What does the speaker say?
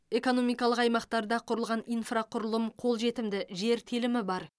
экономикалық аймақтарда құрылған инфрақұрылым қолжетімді жер телімі бар